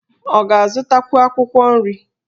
Ọ ga-azụtakwu akwụkwọ nri?